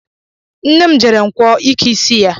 Nne m jere nkwọ ike isi ya